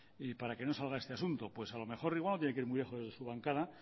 para que no salga este asunto pues a lo mejor igual no tiene que ir muy lejos de su bancada